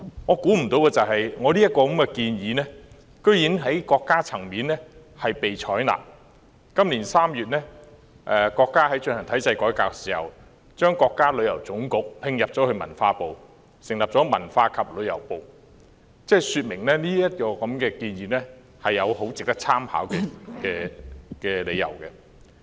我想不到這項建議竟然在國家層面被採納，今年3月國家進行體制改革時，將國家旅遊局併入文化部，成立文化和旅遊部，這說明這項建議有值得參考的理由。